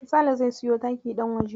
Sale zai siyo taki ɗan waje.